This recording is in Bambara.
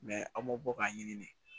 an m'o bɔ k'a ɲini